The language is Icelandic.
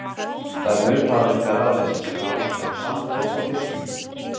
Það er mun hraðvirkara að lesa skrá sem er samfelld á disknum.